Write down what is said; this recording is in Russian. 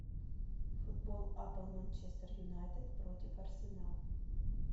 футбол апл манчестер юнайтед против арсенал